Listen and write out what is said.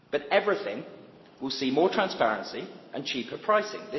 But everything will see more transparency and cheaper pricing.